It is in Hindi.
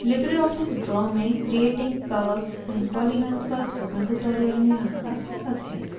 libreoffice draw में creating curves and polygons पर spoken tutorial में आपका स्वागत है